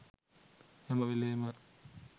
හැම වෙලේම